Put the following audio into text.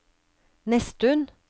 Nesttun